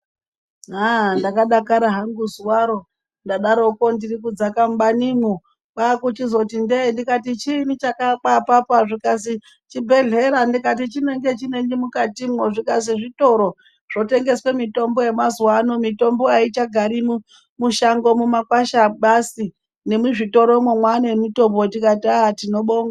Ah! ndakadakara hangu zuwaro ndaro ndiri kudzaka mubanimwo, kwakuchizoti ndee, ndikati "chiinyi chakaakwa apapo?', zvikazi chibhehlera. Ndikati chinenge chinenyi mukatimwo, zvikazi zvitoro zvinotengesa mitombo yemazuwa ano, mitombo achigari mushango nemakwasha basi, asi nemuzvitoromwo mwaane mitombo, ndikati ah!, tinobonga.